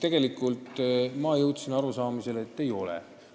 Aga ma jõudsin arusaamisele, et seda see ei tähenda.